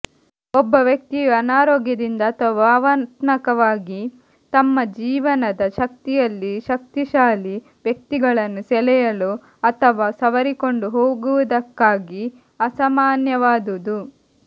ಒಬ್ಬ ವ್ಯಕ್ತಿಯು ಅನಾರೋಗ್ಯದಿಂದ ಅಥವಾ ಭಾವನಾತ್ಮಕವಾಗಿ ತಮ್ಮ ಜೀವನದ ಶಕ್ತಿಯಲ್ಲಿ ಶಕ್ತಿಶಾಲಿ ವ್ಯಕ್ತಿಗಳನ್ನು ಸೆಳೆಯಲು ಅಥವಾ ಸವರಿಕೊಂಡು ಹೋಗುವುದಕ್ಕಾಗಿ ಅಸಾಮಾನ್ಯವಾದುದು